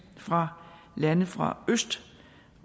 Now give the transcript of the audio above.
fra lande fra øst